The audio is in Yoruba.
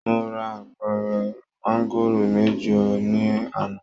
Mo ra àpẹrẹ maangoro mẹjọ ní àná.